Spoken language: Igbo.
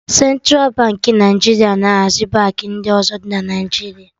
Centra Baankị Naijiria na hazi Baankị ndị ọzọ dị na Naijiria